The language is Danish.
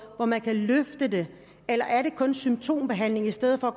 hvor man kan løfte det eller er det kun symptombehandling i stedet for